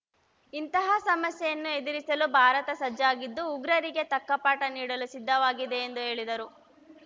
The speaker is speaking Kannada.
ಇಂತಹ ಸಮಸ್ಯೆಯನ್ನು ಎದುರಿಸಲು ಭಾರತ ಸಜ್ಜಾಗಿದ್ದು ಉಗ್ರರಿಗೆ ತಕ್ಕಪಾಠ ನೀಡಲು ಸಿದ್ಧವಾಗಿದೆ ಎಂದು ಹೇಳಿದರು